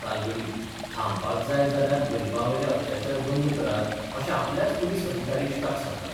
तालगडी थांबपाक जाय जाल्यार गरिबांवेले अत्याचार बंद करात अशें आपल्याच पुलीस अधिकारी इश्टाक सांगता.